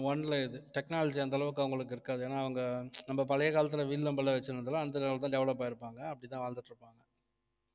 ஆஹ் one ல இது technology அந்த அளவுக்கு அவங்களுக்கு இருக்காது ஏன்னா அவங்க நம்ம பழைய காலத்துல வில் அம்புலாம் வச்சிருந்தாலும் அந்த level லதான் develop ஆயிருப்பாங்க அப்படி அப்படித்தான் வாழ்ந்துட்டு இருப்பாங்க